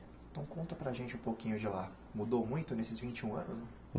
Então conta para a gente um pouquinho de lá, mudou muito nesses vinte e um anos?